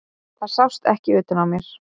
Það sást ekki utan á mér.